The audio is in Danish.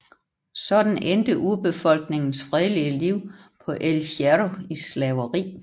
Sådan endte urbefolkningens fredelige liv på El Hierro i slaveri